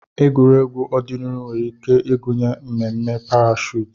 Egwuregwu ọdịnihu nwere ike ịgụnye mmemme parashuut.